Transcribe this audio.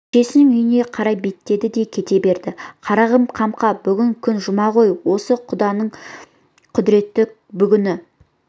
шешесінің үйіне қарай беттеді кете берді қарағым қамқа бүгін күн жұма ғой осы құданың құдіреті бүгін